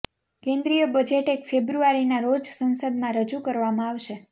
કેંદ્રીય budget એક ફેબ્રુઆરીના રોજ સંસદમાં રજૂ કરવામાં આવશે